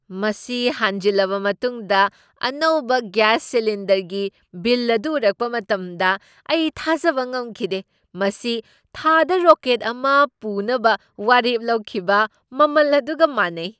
ꯃꯁꯤ ꯍꯥꯟꯖꯤꯟꯂꯕ ꯃꯇꯨꯡꯗ ꯑꯅꯧꯕ ꯒ꯭ꯌꯥꯁ ꯁꯤꯂꯤꯟꯗꯔꯒꯤ ꯕꯤꯜ ꯑꯗꯨ ꯎꯔꯛꯄ ꯃꯇꯝꯗ ꯑꯩ ꯊꯥꯖꯕ ꯉꯝꯈꯤꯗꯦ ꯫ ꯃꯁꯤ ꯊꯥꯗ ꯔꯣꯀꯦꯠ ꯑꯃ ꯄꯨꯅꯕ ꯋꯥꯔꯦꯞ ꯂꯧꯈꯤꯕ ꯃꯃꯜ ꯑꯗꯨꯒ ꯃꯥꯟꯅꯩ!